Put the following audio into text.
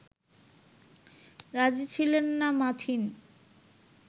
রাজি ছিলেন না মাথিন